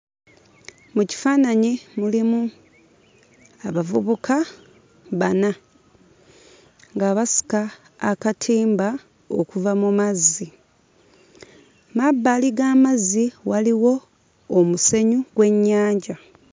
Mu kifaananyi mulimu abavubuka bana nga basika akatimba okuva mu mazzi. Mu mabbali g'amazzi waliwo omusenyu gw'ennyanja.